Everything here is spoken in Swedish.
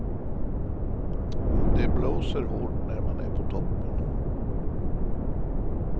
Det blåser hårt när man är på toppen.